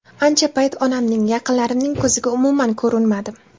Ancha payt onamning, yaqinlarimning ko‘ziga umuman ko‘rinmadim.